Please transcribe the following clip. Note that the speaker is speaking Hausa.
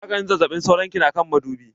Maganin zazzaɓin sauron ki na kan madubi.